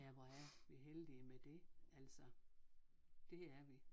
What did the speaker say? Ja hvor er vi heldige med det altså det er vi